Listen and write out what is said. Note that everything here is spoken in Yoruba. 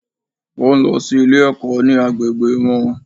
O n lọ sí Ilé ẹ̀kọ́ ní agbègbè wọn